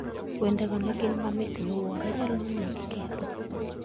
Wendego ne gin mamit miwuoro inyalo nuo gi.